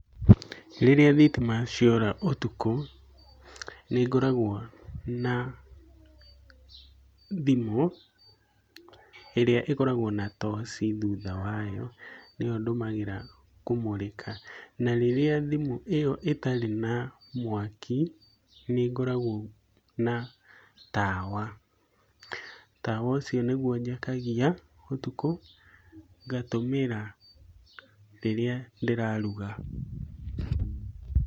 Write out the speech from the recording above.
Rĩrĩa thitima ciora ũtukũ, nĩngoragwo na thimũ, ĩrĩa ĩkoragwo na toci thutha wayo, nĩyo ndũmagira kũmũrĩka, na rĩrĩa thimu ĩyo ĩtarĩ na mwaki, nĩ ngoragwo na tawa. Tawa ũcio nĩguo njakagia ũtukũ, ngatũmĩra rĩrĩa ndĩraruga.